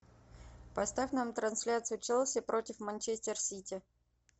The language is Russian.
поставь нам трансляцию челси против манчестер сити